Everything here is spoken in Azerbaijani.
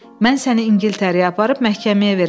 Mən səni İngiltərəyə aparıb məhkəməyə verəcəm.